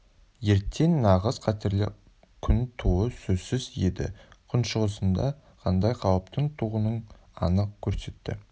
ертең нағыз қатерлі күн тууы сөзсіз еді күншығысында қандай қауіптің туғанын анық көрсетті